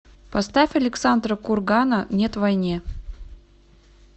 поставь александра кургана нет войне